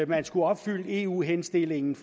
man skulle opfylde eu henstillingen